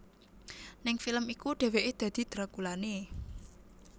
Ning film iku dheweké dadi drakulané